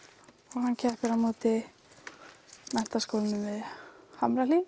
hann keppir á móti Menntaskólanum við Hamrahlíð